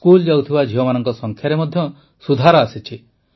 school ଯାଉଥିବା ଝିଅମାନଙ୍କ ସଂଖ୍ୟାରେ ମଧ୍ୟ ସୁଧାର ଆସିଛି